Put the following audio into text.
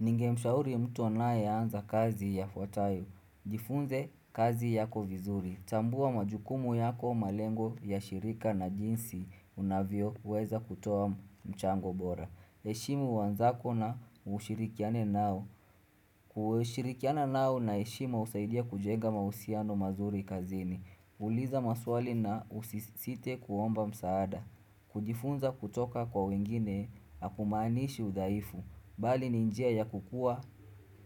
Ningemshauri mtu anaye anza kazi yafuatayo. Jifunze kazi yako vizuri. Tambua majukumu yako malengo ya shirika na jinsi unavyoweza kutoa mchango bora. Heshimu wenzako na ushirikiane nao. Kushirikiana nao na heshima husaidia kujenga mahusiano mazuri kazini. Uliza maswali na usisite kuomba msaada. Kujifunza kutoka kwa wengine hakumaaniishi udhaifu. Bali ni njia ya kukua